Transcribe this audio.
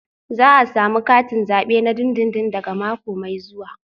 Za a samu katin zabe na dindindin daga mako mai zuwa